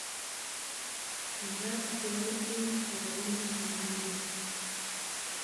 Makat keyai eng boroindo ne yomegei